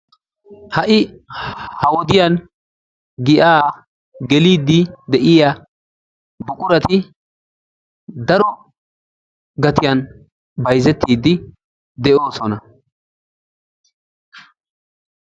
Ha"i ha wodiyan giyaa geliiddi de"iya buqurati daro gatiyan bayzettiiddi de"oosona.